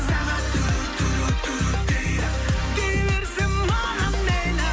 сағат дейді дей берсін маған мейлі